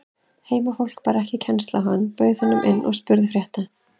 Heimafólk bar ekki kennsl á hann, bauð honum inn og spurði frétta.